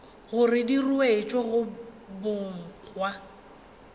gore di ruetšwe go bogwa